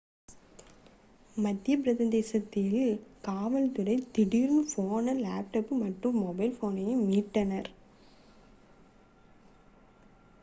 மத்தியப் பிரதேசத்தில் காவல் துறை திருடு போன லேப்டாப் மற்றும் மொபைல் ஃபோனை மீட்டனர்